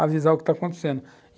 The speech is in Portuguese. avisar o que está acontecendo.